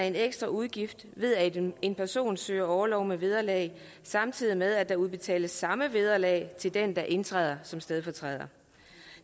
en ekstra udgift ved at en person søger orlov med vederlag samtidig med at der udbetales samme vederlag til den der indtræder som stedfortræder